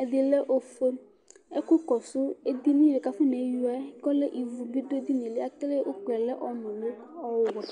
ɛdi lɛ ɔfue ɛku kɔsu edini ku afɔneyuia yɛ kɔlɛ ivu bi du edini yɛ akele uku yɛ lɛ ɔnuli ɔwɛ